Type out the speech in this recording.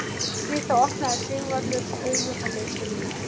Við það opnaði Sigvarður augun og leit til mín.